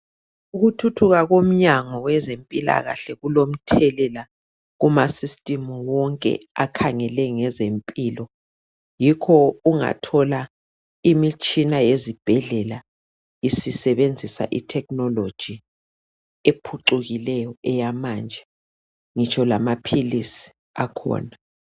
Ukuthuthuka komnyango wezempilakahle kulomthelela kumasystem wonke akhangele ngezempilo yikho ungathola imitshina ezibhedlela isebenzisa itechnology ephucukileyo eyamanje ngitsho lamaphilizi akhona.